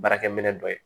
Baarakɛ minɛ dɔ ye